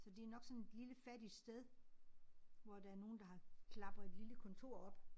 Så det nok sådan et lille fattigt sted hvor der nogen der har klapper et lille kontor op